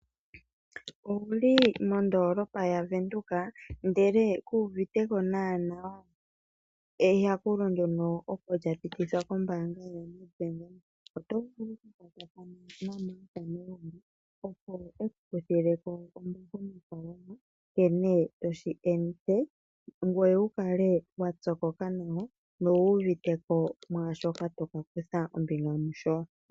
Owu li mondoolopa yaVenduka, ihe ku uvite ko nawa eyakulo ndyoka opo lya pitithwa kombaanga yaNedbank? oto vulu okupopya naMarth Negonga, opo e ku kuthile ko nkene to shi ende ngoye wu kale wa pyokoka nawa nowu uvite ko shoka to ka kutha ombinga mu sho.